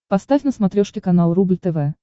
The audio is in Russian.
поставь на смотрешке канал рубль тв